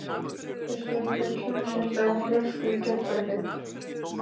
Veistu að ég fékk heimsenda flösku í gærkvöldi?